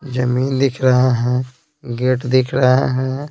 जमीन दिख रहा है गेट दिख रहा है।